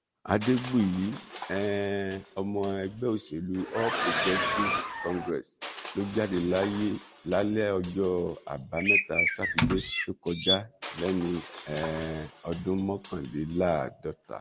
adégbùyí um ọmọ ẹgbẹ́ òṣèlú all progressives congress ló jáde láyé lálẹ́ ọjọ́ àbámẹ́ta sátidé tó kọjá léni um ọdún mọ́kànléláàádọta